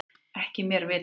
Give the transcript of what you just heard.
Ekki mér vitanlega